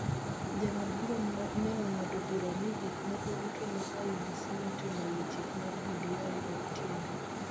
Jong'ad bura ne ong�ado bura ni gik moko duto ma IEBC notimo e wi chik mar BBI ok tiende.